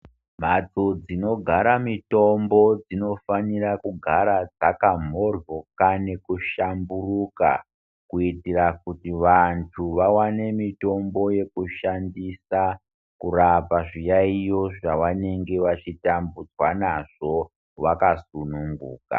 Mhatso dzinogara mitombo dzinofanira kugara dzakamhoryoka nekuhlamburuka kuitira kuti vantu vawane mitombo yekushandisa kurapa zviyaiyo zvavanenge vachitambudzwa nazvo vakasununguka.